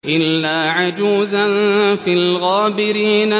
إِلَّا عَجُوزًا فِي الْغَابِرِينَ